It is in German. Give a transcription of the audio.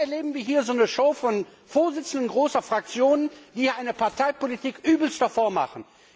Und dann erleben wir hier so eine Show von Vorsitzenden großer Fraktionen, die eine Parteipolitik übelster Form machen.